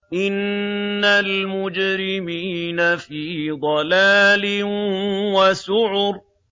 إِنَّ الْمُجْرِمِينَ فِي ضَلَالٍ وَسُعُرٍ